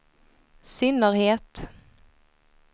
synnerhet